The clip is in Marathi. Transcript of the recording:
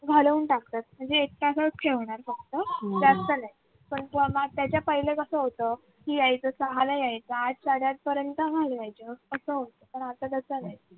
घालवून टाकतात म्हणजे एक तासच ठेवनार फक्त जास्त नाही पण त्याच्या पहिले कस होत की यायचं सहाला यायचं आठ सडे आठ पर्यंत घालवायचं तर तस पण आता तस नाही